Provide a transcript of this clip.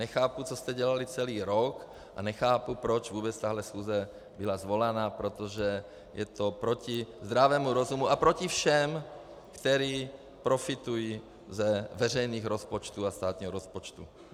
Nechápu, co jste dělali celý rok, a nechápu, proč vůbec tahle schůze byla svolána, protože je to proti zdravému rozumu a proti všem, kteří profitují z veřejných rozpočtů a státního rozpočtu.